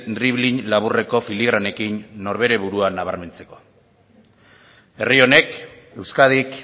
dribling laburreko filigranekin honekin norbere burua nabarmentzeko herri honek euskadik